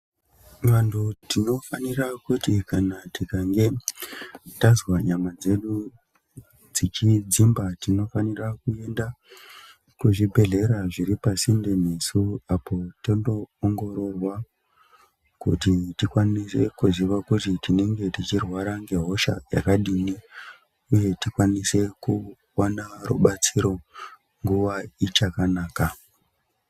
Vantu tinofanira kuti kana tikange tazwa nyama dzedu dzichidzimba tifanira kuenda kuzvibhedhlera zviri pasinde nesu. Apo tondo ongororwa kuti tikwanise kuziva kuti tinenge tichirwara ngehosha yakadini, uye tikwanise kuvana rubatsiro nguva ichakanaka.